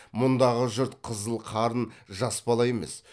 мұндағы жұрт қызыл қарын жас бала емес